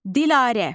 Dilarə.